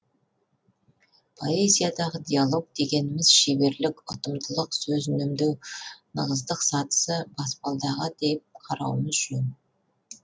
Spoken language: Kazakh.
поэзиядағы диалог дегеніміз шеберлік ұтымдылық сөз үнемдеу нығыздық сатысы баспалдағы деп қарауымыз жөн